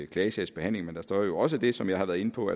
klagesagsbehandling men der står jo også det som jeg har været inde på